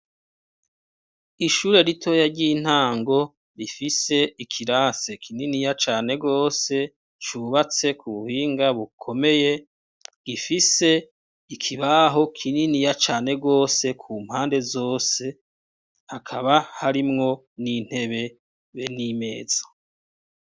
Ishure ritoya ry’intango rifise ikirase kininiya cane gose cubatse kubuhinga bukomeye gifise ikibaho kininiya cane gose kumpande zose hakaba harimwo nintebe be nimeza.